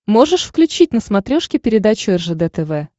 можешь включить на смотрешке передачу ржд тв